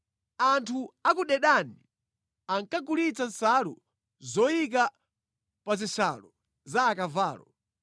“Anthu a ku Dedani ankakugulitsa nsalu zoyika pa zishalo za akavalo.